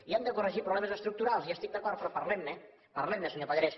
i hem de corregir problemes estructurals hi estic d’acord però parlem ne parlemne senyor pallarès